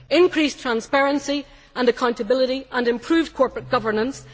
increased transparency and accountability and improved corporate governance